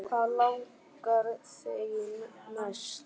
Hvað langar þig í næst?